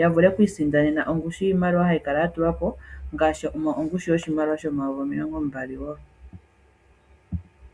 yavule oku isindanena ongushu yoshimaliwa ngaashi ongushu yoshimaliwa shomayovi omilongombali.